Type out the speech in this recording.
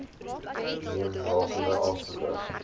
neem rakende aansoeke